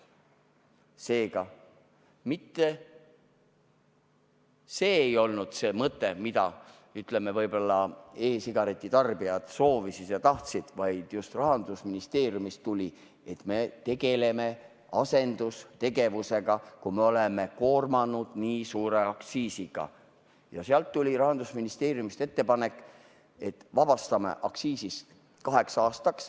Seega, see ei olnud mitte see mõte, mida võib-olla e-sigareti tarbijad soovisid ja tahtsid, vaid just Rahandusministeeriumist tuli see, et me tegeleme asendustegevusega, kui me oleme koormanud selle nii suure aktsiisiga, ja Rahandusministeeriumist tuli ettepanek, et vabastame aktsiisist kaheks aastaks.